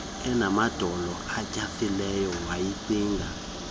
enamadolo atyhafileyo wayicinga